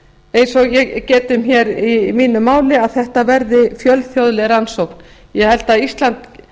eins og ég gat um í mínu máli fjölþjóðleg rannsókn ég held að ísland